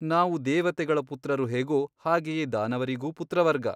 ನಾವು ದೇವತೆಗಳ ಪುತ್ರರು ಹೇಗೋ ಹಾಗೆಯೇ ದಾನವರಿಗೂ ಪುತ್ರವರ್ಗ.